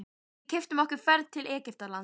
Við keyptum okkur ferð til Egyptalands.